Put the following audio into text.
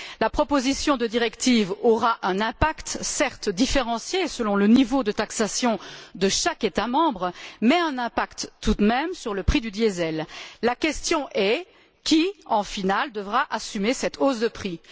La proposition de directive aura un impact certes différencié selon le niveau de taxation de chaque État membre, mais un impact tout de même sur le prix du diesel. La question est qui, au final, devra assumer cette hausse de prix?